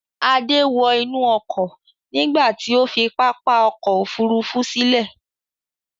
Adé wọ inú ọkọ̀ nígbà tí ó fi pápá ọkọ̀-òfurufú sílẹ̀.